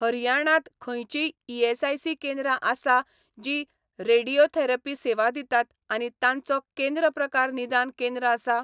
हरियाणांत खंयचींय ईएसआयसी केंद्रां आसा जीं रेडियोथेरपी सेवा दितात आनी तांचो केंद्र प्रकार निदान केंद्र आसा?